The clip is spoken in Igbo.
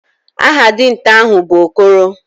Aha dinta ahu bu Okoro.